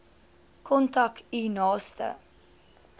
kontak u naaste